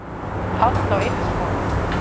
Páll á einn son.